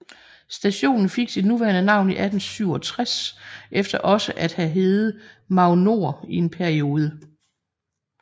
Stationen fik sit nuværende navn i 1867 efter også at have hedde Magnord i en periode